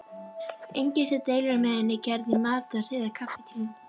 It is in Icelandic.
Enginn sem deilir með henni geði í matar- eða kaffitímum.